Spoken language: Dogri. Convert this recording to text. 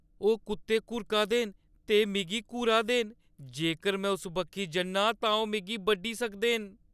ओह् कुत्ते घुर्का दे न ते मिगी घूरा दे न। जेकर में उस बक्खी जन्नां तां ओह् मिगी बड्ढी सकदे न।